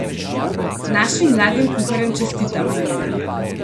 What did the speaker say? Našim mladim kuharjem čestitamo!